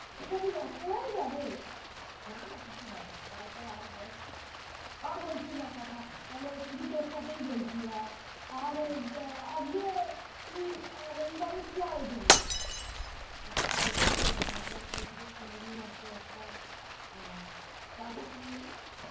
আজকে রবিবারে আমাদের হয়েছে চিংড়ি মাছের একটা কাজু চিংড়ি